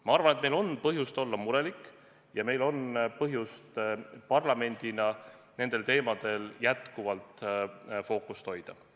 Ma arvan, et meil on põhjust olla murelik ja meil on põhjust parlamendina nendel teemadel fookust hoida.